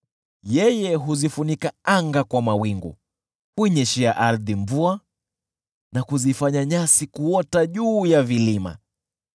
Yeye huzifunika anga kwa mawingu, huinyeshea ardhi mvua, na kuzifanya nyasi kuota juu ya vilima.